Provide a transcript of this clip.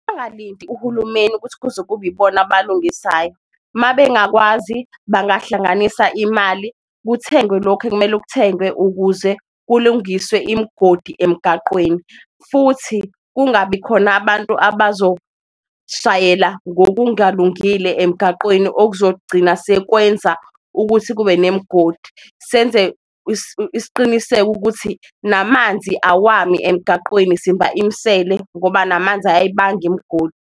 Bangalindi uhulumeni ukuthi kuze kube ibona abalungisayo uma bengakwazi, bangahlanganisa imali kuthengwe lokhu ekumele kuthengwe ukuze kulungiswe imigodi emgaqweni. Futhi kungabi khona abantu abazoshayela ngokungalungile emgaqweni okuzogcina sekwenza ukuthi kube nemigodi. Senze isiqiniseko ukuthi namanzi awami emgaqweni simba imisele ngoba namanzi ayayibanga imigodi.